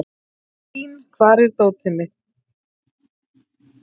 Blín, hvar er dótið mitt?